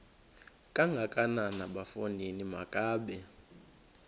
kangakanana bafondini makabe